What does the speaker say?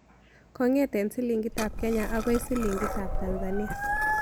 Kong'eten silingiitab kenya agoi silingiitab tanzania